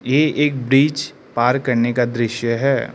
ये एक ब्रिज पार करने का दृश्य है।